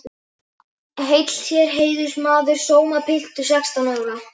Heill þér heiðursmaður sómapiltur sextán ára.